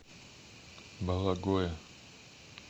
бологое